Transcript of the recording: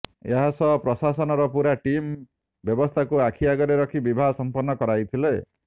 ଏହା ସହ ପ୍ରଶାସନର ପୂରା ଟିମ୍ ବ୍ୟବସ୍ଥାକୁ ଆଖି ଆଗରେ ରଖି ବିବାହ ସମ୍ପନ୍ନ କରାଇଥିଲେ